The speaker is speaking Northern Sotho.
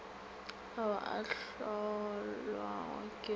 ao a hlolwago ke go